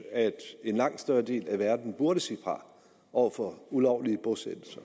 at en langt større del af verden burde sige fra over for ulovlige bosættelser